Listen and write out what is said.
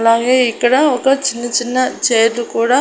అలాగే ఇక్కడ ఒక చిన్న చిన్న చేతు కూడా--